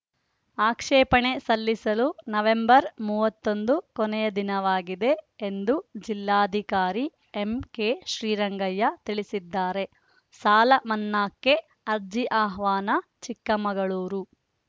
ಆಕ್ಷೇಪಣೆ ಸಲ್ಲಸಲು ನವೆಂಬರ್‌ ಮೂವತ್ತ್ ಒಂದು ಕೊನೆಯ ದಿನವಾಗಿದೆ ಎಂದು ಜಿಲ್ಲಾಧಿಕಾರಿ ಎಂಕೆ ಶ್ರೀರಂಗಯ್ಯ ತಿಳಿಸಿದ್ದಾರೆ ಸಾಲ ಮನ್ನಾಕ್ಕೆ ಅರ್ಜಿ ಆಹ್ವಾನ ಚಿಕ್ಕಮಗಳೂರು